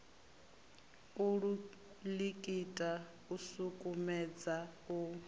u likita u sukumedza u